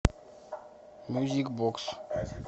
мьюзик бокс